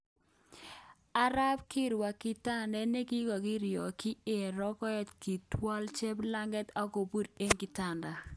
Ako wirta kitandet nekikokirotyi eng rokoet kotwal cheplanget okobur eng kitanda.